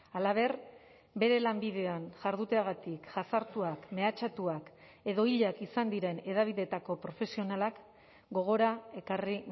halaber bere lanbidean jarduteagatik jazartuak mehatxatuak edo hilak izan diren hedabideetako profesionalak gogora ekarri